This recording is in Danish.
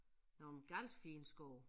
Nogle galt fine sko